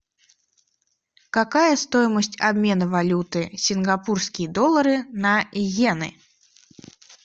какая стоимость обмена валюты сингапурские доллары на йены